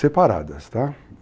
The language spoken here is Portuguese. Separadas, tá?